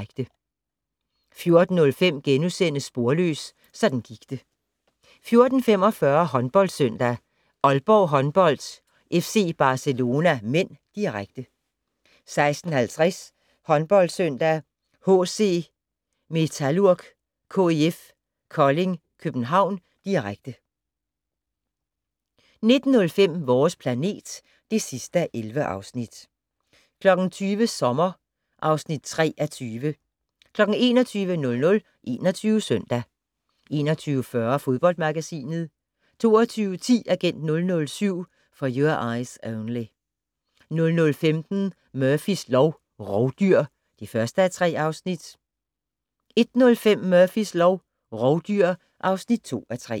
14:05: Sporløs - sådan gik det * 14:45: HåndboldSøndag: Aalborg Håndbold-FC Barcelona (m), direkte 16:50: HåndboldSøndag: HC Metalurg-KIF Kolding København, direkte 19:05: Vores planet (11:11) 20:00: Sommer (3:20) 21:00: 21 Søndag 21:40: Fodboldmagasinet 22:10: Agent 007 - For Your Eyes Only 00:15: Murphys lov: Rovdyr (1:3) 01:05: Murphys lov: Rovdyr (2:3)